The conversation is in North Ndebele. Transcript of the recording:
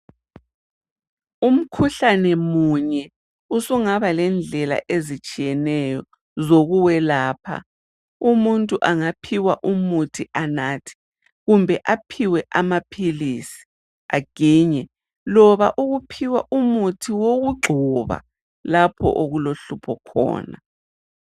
Umkhuhlane munye usungaba lendlela ezitshiyeneyo zokuwelapha. Umuntu angaphiwa umuthi anathe, kumbe aphiwe amaphilisi aginye, loba ukuphiwa umuthi wokugcoba lapho okulohlupho khona.